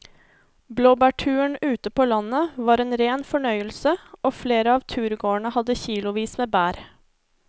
Blåbærturen ute på landet var en rein fornøyelse og flere av turgåerene hadde kilosvis med bær.